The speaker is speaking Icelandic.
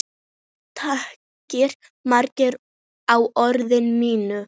Takið mark á orðum mínum.